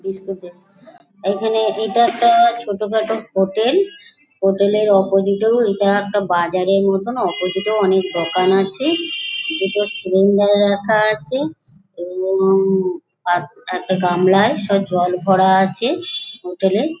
Disco তে এইখানে এইটা একটা ছোটখাটো হোটেল । হোটেল -এর অপোজিট -এ এটা একটা বাজার মতন অপোজিট -এও অনেক দোকান আছে দুটো সিলিন্ডার রাখা আছে এবং পা একটা গামলায় জল ভরা আছে হোটেল -এ